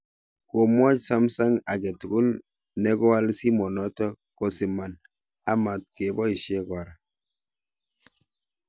Komwaach Sumsung agetugul nekigaoal simenoto kosiman a matkoboisye kora